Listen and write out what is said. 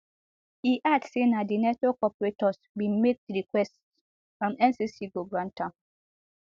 e add say na di network operators bin make di request and ncc go grant am